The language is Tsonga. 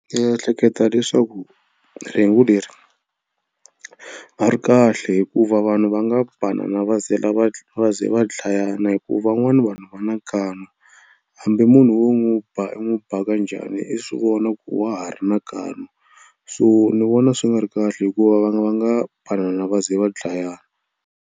Ehleketa leswaku rhengu leri a ri kahle hikuva vanhu va nga banana va ze la va va ze va dlayana hi ku van'wana vanhu va na nkani hambi munhu wo n'wi ba i n'wi ba kanjhani i swi vona ku wa ha ri na nkani so ni vona swi nga ri kahle hikuva va nga va nga banana va ze va dlayana.